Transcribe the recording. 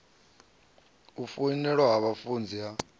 u foinela ha vhafunzi ha